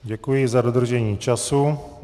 Děkuji za dodržení času.